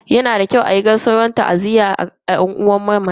Yana da kyau a yi gaisuwan ta'aziyya ga yan uwan mamaci.